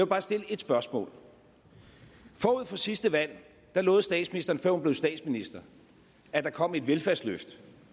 bare stille et spørgsmål forud for sidste valg lovede statsministeren før hun blev statsminister at der kom et velfærdsløft